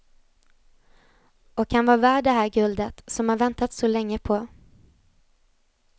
Och han var värd det här guldet, som han väntat så länge på.